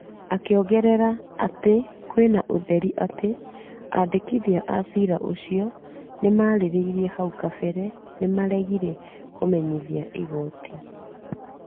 Akĩongerera atĩ kwena ũtheri atĩ , andĩkithia a cira ũcio maarĩrĩirie hau kabere nĩ maregire kũmenyithia igooti,